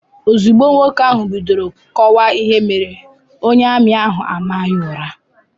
Ozugbo nwoke ahụ bidoro kọwaa ihe mere, onye ami ahụ a maa ya ụra.